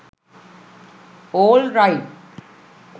allright